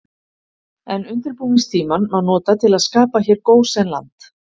En undirbúningstímann má nota til að skapa hér gósenland.